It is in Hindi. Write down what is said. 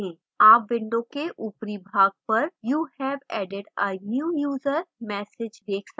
आप window के ऊपरी भाग पर you have added a new user message देख सकते हैं